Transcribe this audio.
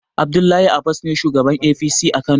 Abdullahi abas ne shugaban APC a kano